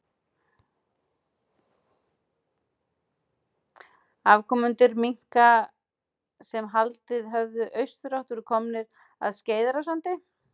Afkomendur minka sem haldið höfðu í austurátt voru komnir að Skeiðarársandi.